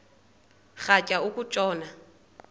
rhatya uku tshona